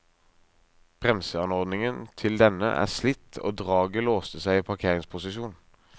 Bremseanordningen til denne er slitt og draget låste seg i parkeringsposisjon.